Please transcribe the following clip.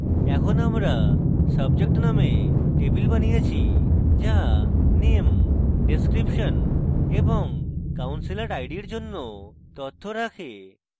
এখন আমরা subject named table বানিয়েছি যা name description এবং counselor id we জন্য তথ্য রাখে